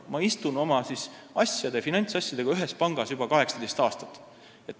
Ma istun oma finantsasjadega ühes ja samas pangas juba 18 aastat.